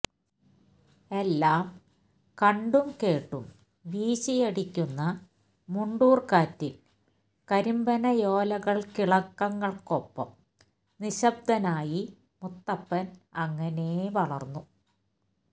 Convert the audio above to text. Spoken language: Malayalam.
എല്ലാം കണ്ടും കേട്ടും വീശിയടിക്കുന്ന മുണ്ടൂർക്കാറ്റിൽ കരിമ്പനയോലയിളക്കങ്ങൾക്കൊപ്പം നിശബ്ദനായി മുത്തപ്പൻ അങ്ങനേ വളർന്നു